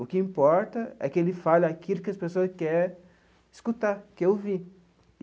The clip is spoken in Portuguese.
O que importa é que ele fale aquilo que as pessoas quer escutar, quer ouvir.